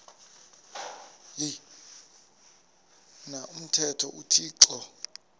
na umthetho uthixo